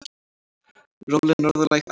Róleg norðlæg átt